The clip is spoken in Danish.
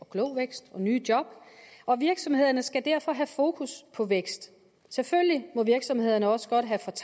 klog vækst og nye job og virksomhederne skal derfor have fokus på vækst selvfølgelig må virksomhederne også godt have